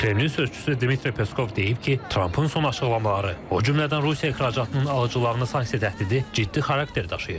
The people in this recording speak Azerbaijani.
Kremlin sözçüsü Dmitri Peskov deyib ki, Trampın son açıqlamaları, o cümlədən Rusiya ixracatının alıcılarına sanksiya təhdidi ciddi xarakter daşıyır.